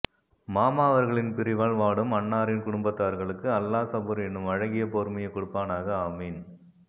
மாமா அவர்களின் பிரிவால் வாடும் அன்னாரின் குடும்பத்தார்களுக்கு அல்லாஹ் சபூர் என்னும் அழகிய பொறுமையை கொடுப்பானாக ஆமீன்